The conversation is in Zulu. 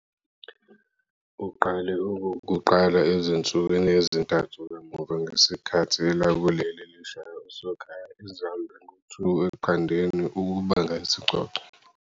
Uqale okokuqala ezinsukwini ezintathu kamuva ngesikhathi elakuleli lishaya osokhaya iZambia ngo 2-0 ukubanga isicoco.